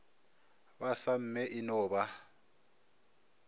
ba samme e no ba